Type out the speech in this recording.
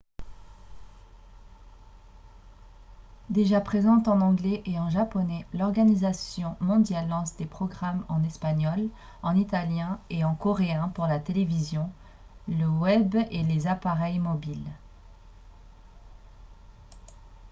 déjà présente en anglais et en japonais l'organisation mondiale lance des programmes en espagnol en italien et en coréen pour la télévision le web et les appareils mobiles